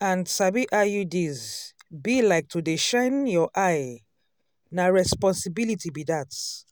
and sabi iuds be like to to dey shine your eye na responsibility be dat.